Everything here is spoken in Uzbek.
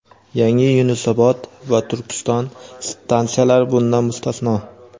Yangi "Yunusobod" va "Turkiston" stansiyalari bundan mustasno.